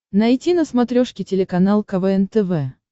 найти на смотрешке телеканал квн тв